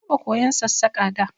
Na taɓa koyan Sassaƙa da